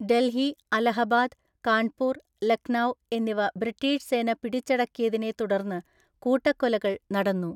ഡൽഹി, അലഹബാദ്, കാൺപൂർ, ലക്നൌ എന്നിവ ബ്രിട്ടീഷ് സേന പിടിച്ചടക്കിയതിനെ തുടർന്ന് കൂട്ടക്കൊലകൾ നടന്നു.